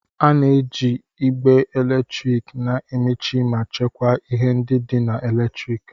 A na-eji igbe eletrik na-emechi ma chekwaa ihe ndị dị na eletriki.